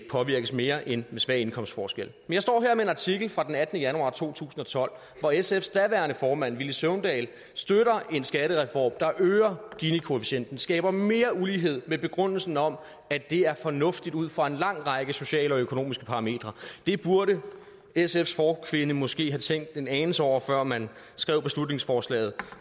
påvirkes mere end med svag indkomstforskel jeg står her med en artikel fra den attende januar to tusind og tolv hvor sfs daværende formand villy søvndal støtter en skattereform som øger ginikoefficienten og skaber mere ulighed med begrundelsen om at det er fornuftigt ud fra en lang række sociale og økonomiske parametre det burde sfs forkvinde måske have tænkt en anelse over før man skrev beslutningsforslaget